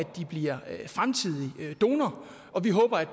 de bliver fremtidig donor og vi håber at